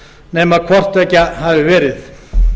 nema hvort tveggja hafi verið